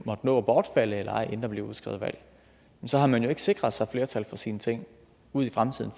måtte nå at bortfalde eller ej inden der bliver udskrevet valg så har man ikke sikret sig flertal for sine ting ud i fremtiden